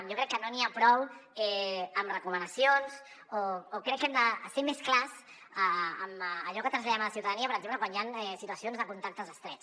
jo crec que no n’hi ha prou amb recomanacions o crec que hem de ser més clars amb allò que traslladem a la ciutadania per exemple quan hi han situacions de contactes estrets